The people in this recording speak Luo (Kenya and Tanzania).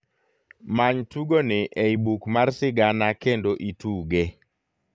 many tugoni ei buk mar sigana kendo ituge